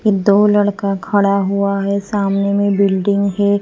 ये दो लड़का खड़ा हुआ है सामने में बिल्डिंग है।